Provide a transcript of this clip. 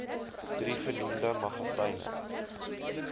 drie genoemde magasyne